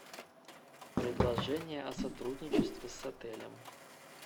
предложение о сотрудничестве с отелем